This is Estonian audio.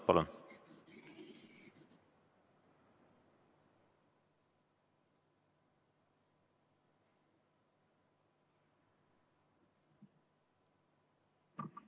Palun!